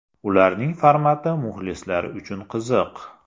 Ularning formati muxlislar uchun qiziq.